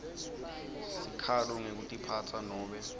sikhalo ngekutiphatsa nobe